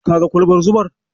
Kaga kwalbar zumar?